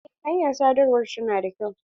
Eh hanyar sadarwa ta na da kyau.